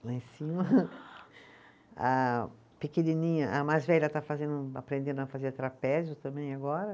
Lá em cima, a pequenininha, a mais velha está fazendo, aprendendo a fazer trapézio também agora.